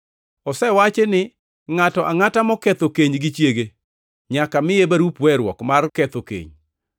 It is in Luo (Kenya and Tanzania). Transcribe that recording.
“Osewachi ni, ngʼato angʼata moketho keny gi chiege nyaka miye barup weruok mar ketho keny. + 5:31 \+xt Rap 24:1\+xt*